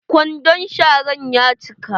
Kwandon sharan ya cika.